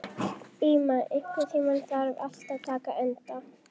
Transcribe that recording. Íma, einhvern tímann þarf allt að taka enda.